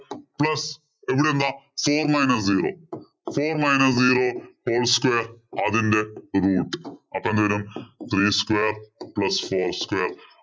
four minus zero. four minus zero whole square അതിന്‍റെ root അപ്പൊ എന്തു വരും? Three square plus whole square